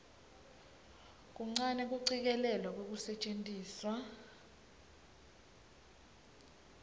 kuncane kucikelelwa kwekusetjentiswa